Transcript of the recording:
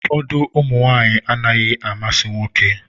Ụfọdụ ụmụ nwanyị anaghị amasị nwoke.